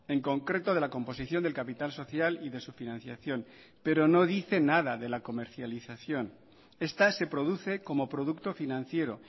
en concreto de la composición del capital social y de su financiación pero no dice nada de la comercialización esta se produce como producto financiero